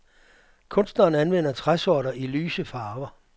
Kunstneren anvender træsorter i lyse farver.